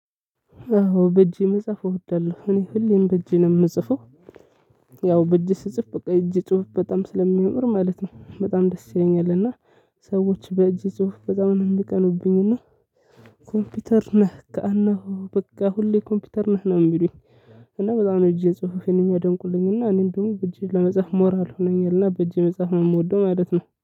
አዎ በእጄ መጽሐፍ እወዳለሁ እኔ ሁሌም በእጄ ነው የምጽፈው። ያው በእጄ ስጽፍ በቃ እጄ ጽሁፍ በጣም ስለሚኖር ማለት ነው። በጣም ደስ ይለኛል። እና ሰዎች በእጅ ጽሁፍ በጣም ነው የሚቀኑብኝ። እና ኮምፒውተር ነህ እና በቃ ሁሌ ኮምፒውተር ነህ ነው የሚሉኝ። እና በጣም ነው እጄ ጽህፍ የሚያደንቁልኝና እኔ እንደውም በእጄ ለመጻፍ ሞራል ሆኖኛልና። በእጄ መጻፍ ነው የምወደው ማለት ነው